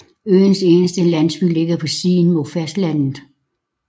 Øens eneste landsby ligger på siden mod fastlandet